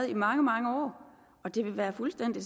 i mange mange år og det vil være fuldstændig